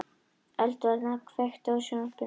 Eðvald, kveiktu á sjónvarpinu.